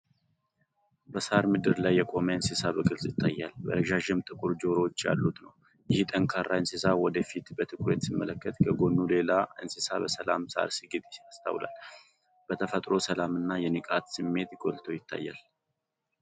በሣር ምድር ላይ የቆመ እንስሳ በግልፅ ይታያል። ረዣዥም ጥቁር ጆሮዎች ያሉት ነው። ይህ ጠንካራ እንስሳ ወደ ፊት በትኩረት ሲመለከት፤ ከጎኑ ሌላ እንስሳ በሰላም ሣር ሲግጥ ይስተዋላል። የተፈጥሮው የሰላም እና የንቃት ስሜት ጎልቶ ይታያል።